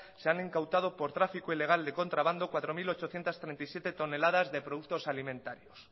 se han incautado por tráfico ilegal de contrabando cuatro mil ochocientos treinta y siete toneladas de productos alimentarios